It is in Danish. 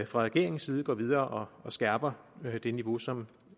fra regeringens side går videre og skærper på det det niveau som